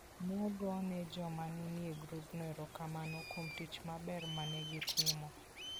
Ne ogone joma ne nie grupno erokamano kuom tich maber ma ne gitimo.